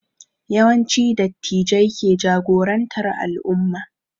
Yawanci Dattijai ke jagorantar al'umma